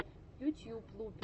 ютьюб лупер